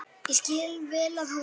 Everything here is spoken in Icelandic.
Ég skil vel að hún.